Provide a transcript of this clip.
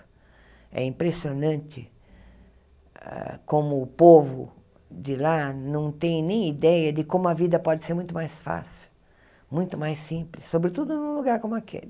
É impressionante ah como o povo de lá não tem nem ideia de como a vida pode ser muito mais fácil, muito mais simples, sobretudo num lugar como aquele.